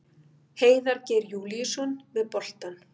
Heiðar Geir Júlíusson með boltann.